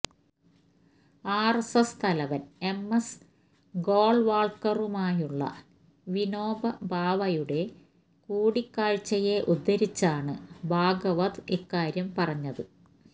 RSS തലവന് M S ഗോള്വാള്ക്കറുമായുള്ള വിനോബ ഭാവെയുടെ കൂടിക്കാഴ്ചയെ ഉദ്ധരിച്ചാണ് ഭാഗവത് ഇക്കാര്യം പറഞ്ഞത്